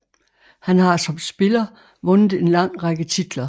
Han har som spiller vundet en lang række titler